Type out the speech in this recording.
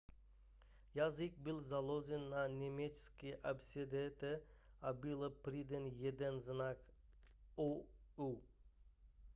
jazyk byl založen na německé abecedě a byl přidán jeden znak õ/õ